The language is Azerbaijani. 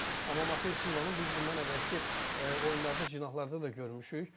Amma Mate Silva'nı biz bundan əvvəlki oyunlarda cinahlarda da görmüşük.